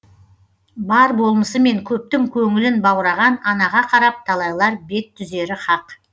бар болмысымен көптің көңілін баураған анаға қарап талайлар бет түзері хақ